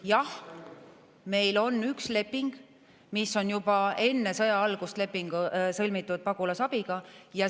Jah, meil on üks leping, mis on juba enne sõja algust sõlmitud leping Pagulasabiga.